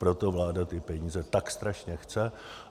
Proto vláda ty peníze tak strašně chce.